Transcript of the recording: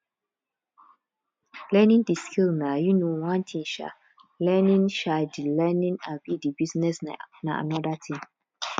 learning di skill na um one thing um learning um di learning um di business na another thing